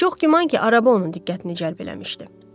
Çox güman ki, araba onun diqqətini cəlb eləmişdi.